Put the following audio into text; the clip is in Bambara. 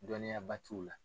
Dɔnniyaba t'u la.